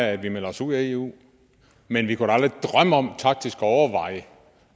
af at vi melder os ud af eu men vi kunne da aldrig drømme om taktisk at overveje